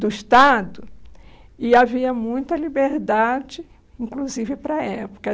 do Estado e havia muita liberdade, inclusive para a época.